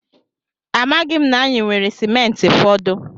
Amaghị m na anyị nwere simenti fọdụ.